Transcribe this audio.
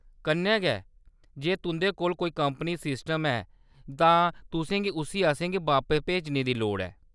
कन्नै गै जे तुंʼदे कोल कोई कंपनी सिस्टम ऐ तां तुसें गी उस्सी असेंगी बापस भेजने दी लोड़ ऐ।